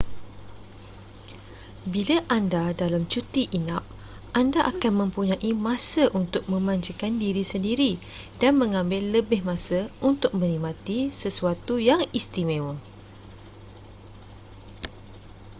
bila anda dalam cuti inap anda akan mempunyai masa untuk memanjakan diri sendiri dan mengambil lebih masa untuk menikmati sesuatu yang istimewa